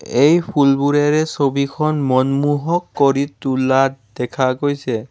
এই ফুলবোৰে ছবিখন মনমোহক কৰি তোলা দেখা গৈছে।